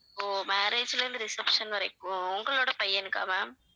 ஓ marriage ல இருந்து reception வரைக்கும் உங்களோட பையனுக்கா ma'am